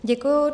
Děkuji.